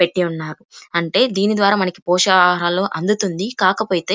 పెట్టి ఉన్నారు అంటే దీని ద్వారా మనకి పోషకాహారాలు అందుతుంది కాకపోతే --